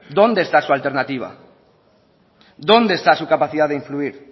dónde está su alternativa dónde está su capacidad de influir